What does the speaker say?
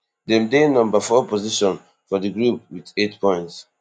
dem dey number four position for dia group wit eight points